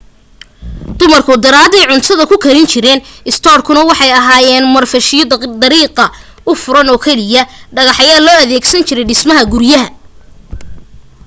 dumarku daaraday cuntada ku karin jireen istoodhadu waxay ahaayeen marfashyo dariiqa u furan oo keliya dhagax ayaa loo adeegsan jiray dhismaha guryaha